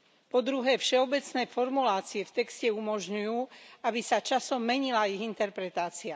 Po druhé, všeobecné formulácie v texte umožňujú, aby sa časom menila ich interpretácia.